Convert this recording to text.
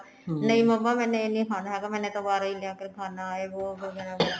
ਨਹੀਂ ਮੰਮਾ ਮੈਨੇ ਇਹ ਨਹੀਂ ਖਾਣਾ ਹੈਗਾ ਮੈਨੇ ਤਾਂ ਬਾਹਰੋ ਲਿਆਕੇ ਹੀ ਖਾਣਾ ਹੈ ਵੋ ਜੋ ਬਣਾ ਹੈ